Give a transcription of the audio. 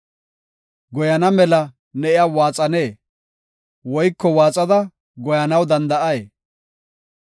Goyana mela ne iya waaxanee? Woyko waaxada goyanaw danda7ay?